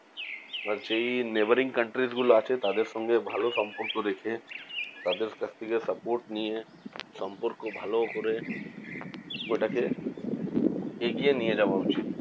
আর যেই neighbouring countries গুলো আছে তাদের সঙ্গে ভালো সম্পর্ক রেখে, তাদের কাছ থেকে support নিয়ে, সম্পর্ক ভালো করে, ওটাকে এগিয়ে নিয়ে যাওয়া উচিত।